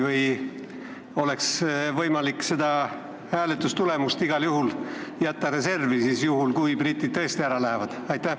Või oleks võimalik seda hääletustulemust reservi jätta, juhuks kui britid tõesti ära lähevad?